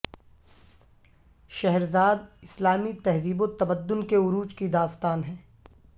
شہرزاد اسلامی تہذیب وتمدن کے عروج کی داستان ہے